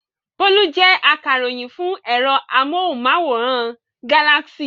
Bólú jẹ́ akaròyìn fún ẹ̀rọ amóhùmáwòhán Galaxy.